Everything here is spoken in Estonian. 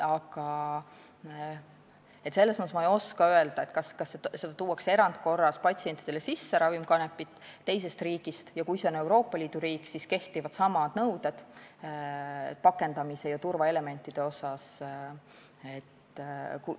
Ma ei oska öelda, kui seda ravikanepit tuuakse erandkorras patsientide jaoks teisest riigist sisse ja kui see on Euroopa Liidu riik, siis pakendamise ja turvaelementide kohta kehtivad samad nõuded.